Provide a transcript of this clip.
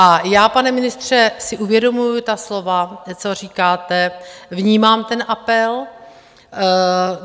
A já, pane ministře, si uvědomuji ta slova, co říkáte, vnímám ten apel.